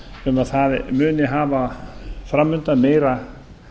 um að það muni hafa framundan meira